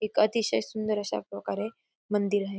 एक अतिशय सुंदर अशाप्रकारे मंदिर आहे.